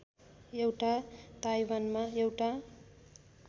एउटा ताइवानमा एउटा